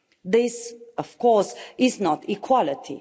This of course is not equality.